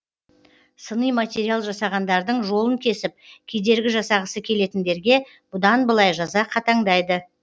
сыни материал жасағандардың жолын кесіп кедергі жасағысы келетіндерге бұдан былай жаза қатаңдайды